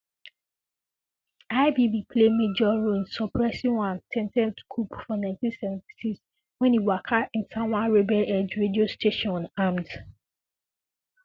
IBB play major role in suppressing one attempted coup for Ninety Seventy Six 1976 wen e waka enta one rebelheld radio station unarmed